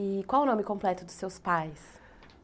E qual o nome completo dos seus pais?